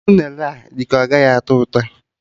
Unere a dị ka ọ gaghị adị ụtọ